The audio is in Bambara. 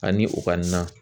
Ani u ka na